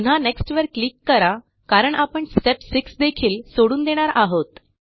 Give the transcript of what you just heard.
पुन्हा नेक्स्ट वर क्लिक करा कारण आपण स्टेप 6 देखील सोडून देणार आहोत